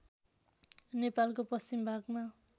नेपालको पश्चिम भागमा